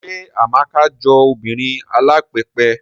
Ṣé Amaka jọ obìnrin alápẹpẹ?